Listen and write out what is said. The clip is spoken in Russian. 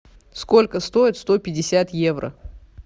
сколько стоит сто пятьдесят евро